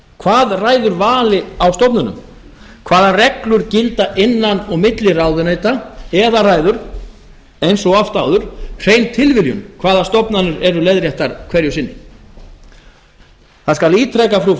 hvað ræður vali á stofnunum hvaða reglur gilda innan og milli ráðuneyta eða ræður eins og oft áður hrein tilviljun hvaða stofnanir eru leiðréttar hverju sinni þá skal